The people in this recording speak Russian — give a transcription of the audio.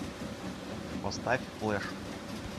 поставь флэш